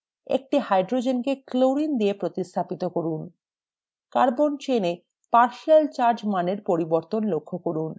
একটি hydrogen কে chlorine দিয়ে প্রতিস্থাপন করুন